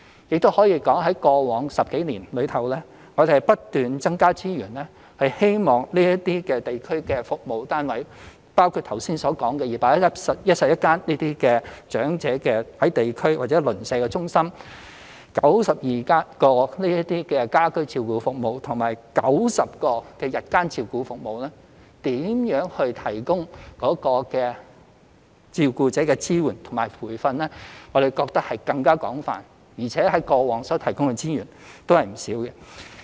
也可以說，在過往10多年，我們不斷增加資源，希望這些地區服務單位，包括剛才提到的211間長者地區中心/長者鄰舍中心、92支家居照顧服務隊、90間長者日間護理中心/單位等，提供照顧者的支援和培訓，我們覺得這更為廣泛，而且過往提供的資源也不少。